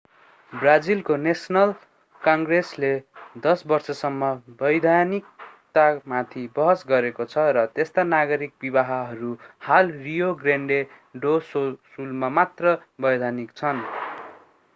ब्राजिलको नेशनल कङ्ग्रेसले 10 वर्षसम्म वैधानिकतामाथि बहस गरेको छ र त्यस्ता नागरिक विवाहहरू हाल रियो ग्रान्डे डो सुलमा मात्र वैधानिक छन्